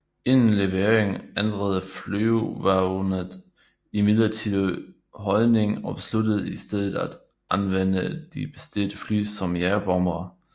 Inden leveringen ændrede Flygvapnet imidlertid holdning og besluttede i stedet at anvende de bestilte fly som jagerbombere